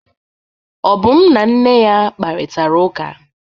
Obum na nne ya kparịtara ụka.